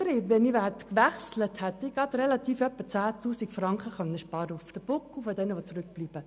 Ich hätte bei einem Wechsel etwa 10 000 Franken auf dem Buckel derjenigen sparen können, die zurückbleiben.